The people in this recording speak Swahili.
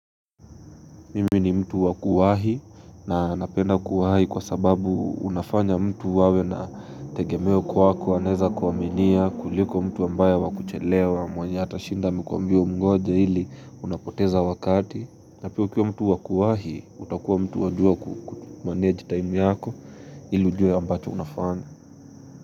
Mimi ni mtu wakuwahi na napenda kuwahi kwa sababu unafanya mtu wawe na tegemeo kwa kuwaneza kuwaminia kuliko mtu ambayw wakuchelewa mwenye hata shinda amewambia amgoje ili unapoteza wakati Napio kia mtu wakuwahi utakuwa mtu wajua kumanage time yako ili ujue ambacho unafanya.